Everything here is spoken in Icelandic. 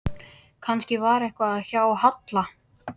Kannski var eitthvað að hjá Halla.